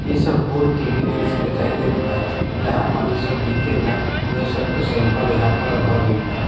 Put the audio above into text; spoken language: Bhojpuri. इस सब वूड के भी दृश्य दिखाई देत बा जहां पर इ सब बिकेला उहे सब के सैंपल यहाँ पर रखल गइल बा।